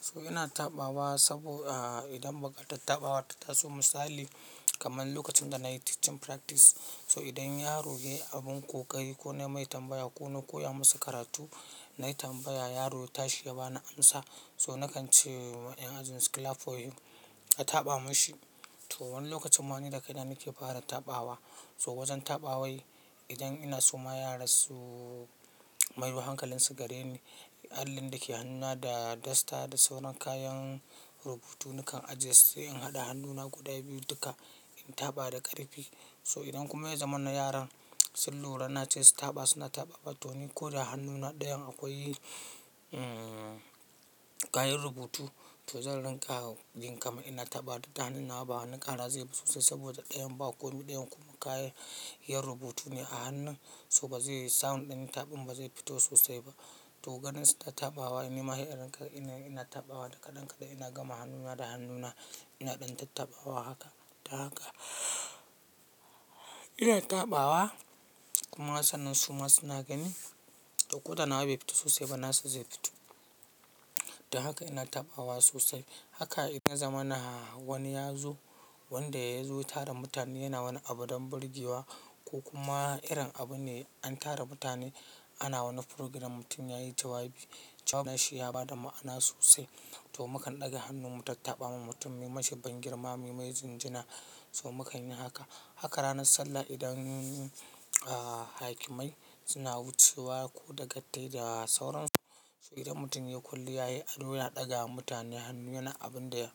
So ina tafawa sabo, idan ba ka tafawa ta taso misali kamar lokacin da na yi teaching practice. So idan yaro ya yi abin ƙoƙari ko na yi mai tambaya ko na koya musu karatu, na yi tambaya yaro ta shi ya ba ni amsa. So nakan ce wa ƴan ajin su "clap for him", a tapa mashi. To wani lokacin ma ni da kaina muke fara tafawa. So wajen tapawan idan ina soma yara su mayo hankalinsu gare ni, allin da ke hannuna da dasta da sauran kayan rubutu nakan ajiye sai in haɗa hannuna guda biyu duka in tafa da ƙarfi. So idan kuma ya zama na yaran sun lura na ce su tafa suna tafawa to ni ko da hannuna ɗayan akwai kayan rubutu, to zanrin ka, jim kamar ina tafa da hannuna ba, hannun ka na zai fito sosai saboda ɗayan ba ko me ɗayan kuma kayan, iya rubutu ne a hannun. So ba zai yi sound ɗin tafin ba zai fito sosai ba. To ganin su ta tafawa ya nima sai inrin ka ina, ina tafawa da kaɗan kaɗan ina gama hannuna da hannuna ina ɗan taɓawa haka da haka. Ina taɓawa kuma sannan suma suna gani, ƙodana ba ya fito sosai ba nasa zai fito. Da haka ina taɓawa sosai. Haka idan ya zama na wani ya zo wanda ya zo tara mutane yana wani abu don birgewa ko kuma irin abu ne an tara mutane ana wani program mutum ya yi tawa biyu. Tawa shi ya ba da ma'ana sosai. To mu kan ɗaga hannun mu ta taɓa ma mutum, yi mashi bangirma, yi mai jinjina. So mu kan yi haka. Haka ranar sallah idan ah, hakimai suna wucewa ko da gattai da sauran su. So idan mutum ya yi kullum ya yi alluna ɗaga wa mutane hannu yana abin da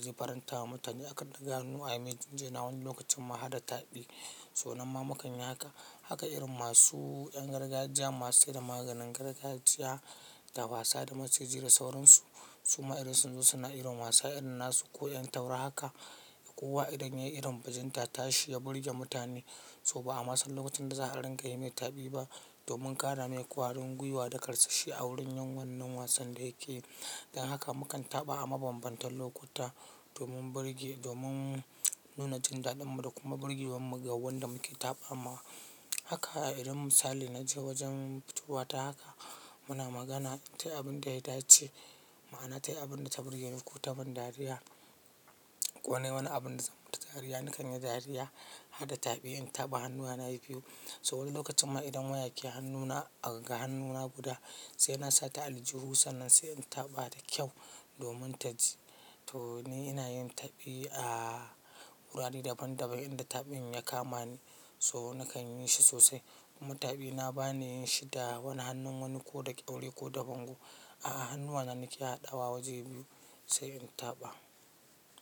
zai faranta wa mutane. Akan ɗaga hannu ayi mai jinjina wani lokacin ma haɗa taɓi. So nan ma mu kan yi haka. Haka irin masu ƴan gargajiya masu saida maganin gargajiya, tafasa da maciji da sauran su. Suma irin su suna irin masu irin nasu koyan taura haka. Kowa idan ya yi irin bajinta ta shi ya birge mutane. To ba a masa lokacin da za'a ringa yi mai taɓi ba domin ƙara mai ƙwarin gwiwa da karsashi a wurin yin wannan wasan da yake yi. Dan haka mu kan taɓa a mabambantan lokuta domin birge, domin nuna jin daɗin mu da kuma birgewan mu ga wanda muke taɓa ma. Haka a irin misali na ji wajen fitowa ta haka. Muna magana ta abin da ya dace. Ma'ana ta abin da ta birge ni ko ta ban dariya. Ko na yi wani abin da zan furta dariya, ni kan yi dariya. Hadda taɓi in taɓa hannuna na yi biyu. So wani lokacin ma idan waya ke hannuna, a ga hannuna guda sai na sa ta ali jiru sannan sai in taɓa da kyau domin ta ji. To ni ina yin taɓi a wurare daban daban inda taɓin ya kama ni so nakan yi shi sosai. Mutabi na ba ni yin shi da wani hannun wani ko da ƙyauri ko da bango. A hannuwa na nake haɗawa waje biyu sai in taɓa.